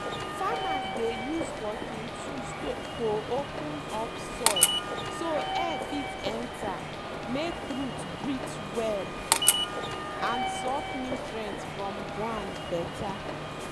farmers dey use working tools to open up soil so air fit enter make root breathe well and suck nutrients from ground better.